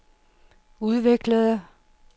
udviklede